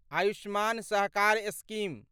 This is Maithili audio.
आयुष्मान सहकार स्कीम